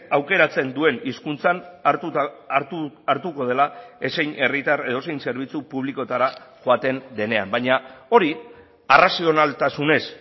aukeratzen duen hizkuntzan hartuko dela ezein herritar edozein zerbitzu publikoetara joaten denean baina hori arrazionaltasunez